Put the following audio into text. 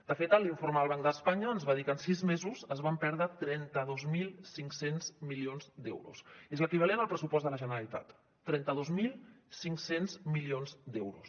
de fet l’informe del banc d’espanya ens va dir que en sis mesos es van perdre trenta dos mil cinc cents milions d’euros és l’equivalent al pressupost de la generalitat trenta dos mil cinc cents milions d’euros